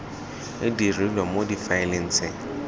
e dirilwe mo difaeleng tse